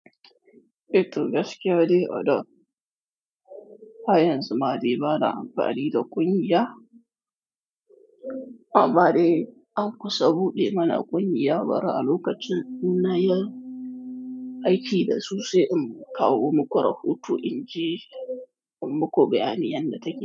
E to gaskiya dai, a da haryan zumade bana amfani da ƙunya. Amma dai an kusa buɗe mana ƙungiya bari a lokacin innayi aiki da su sai in kawo muku rahoto in ji in muku bayani yadda take.